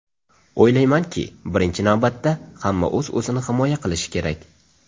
O‘ylaymanki, birinchi navbatda hamma o‘z-o‘zini himoya qilishi kerak.